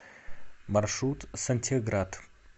маршрут сантехград